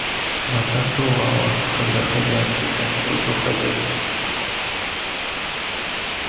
но так бывало когда хозяин когда нибудь уходил